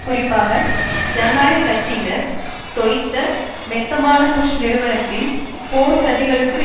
குறிப்பாக ஜனநாயக கட்சியினர் தொய்ந்த மெத்தனமான புஷ் நிர்வாகத்தின் போர் சதிகளுக்கு